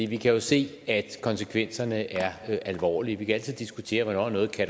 vi kan jo se at konsekvenserne er alvorlige vi kan altid diskutere hvornår noget